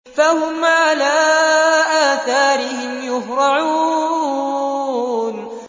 فَهُمْ عَلَىٰ آثَارِهِمْ يُهْرَعُونَ